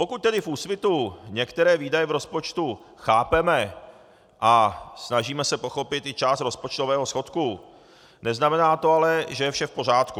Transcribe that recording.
Pokud tedy v Úsvitu některé výdaje v rozpočtu chápeme a snažíme se pochopit i část rozpočtového schodku, neznamená to ale, že je vše v pořádku.